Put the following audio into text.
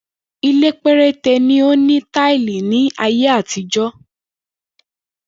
Ilé̩ péréte ni ó ni táílì ní ayé àtijó̩